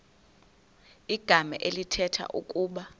igama elithetha ukuba